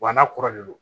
Wa n'a kɔrɔ de don